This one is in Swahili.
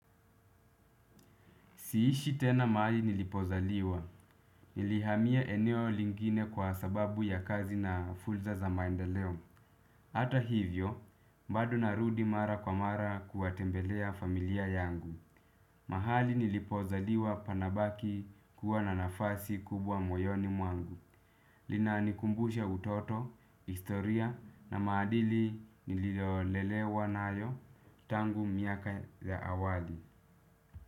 Siishi tena mahali nilipozaliwa. Nilihamia eneo lingine kwa sababu ya kazi na fulza za maenda leo. Ata hivyo, bado narudi mara kwa mara kuwatembelea familia yangu. Mahali nilipozaliwa panabaki kuwa na nafasi kubwa moyoni mwangu. Linanikumbusha utoto, historia na maadili niliolelewa nayo tangu miaka ya awali.